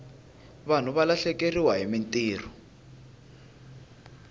vanhu va lahlekeriwahi mintirho